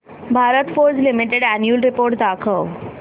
Bharat Forge limited annual report दाखव